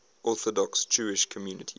orthodox jewish communities